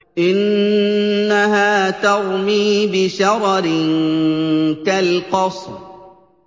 إِنَّهَا تَرْمِي بِشَرَرٍ كَالْقَصْرِ